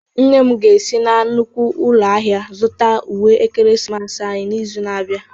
Nne m ga-esi na nnukwu ụlọ ahịa zụta uwe ekeresimesi anyị n'izu na-abịa.